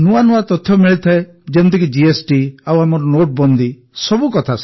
ନୂଆ ନୂଆ ତଥ୍ୟ ମିଳିଥାଏ ଯେପରିକି ଜିଏସଟି ଆଉ ଆମର ନୋଟବନ୍ଦୀ ସବୁ କଥା